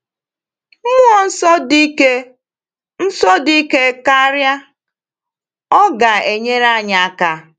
Mmụọ Nsọ dị ike Nsọ dị ike karịa, ọ ga-enyere anyị aka!